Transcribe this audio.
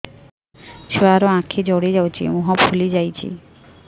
ଛୁଆର ଆଖି ଜଡ଼ି ଯାଉଛି ମୁହଁ ଫୁଲି ଯାଇଛି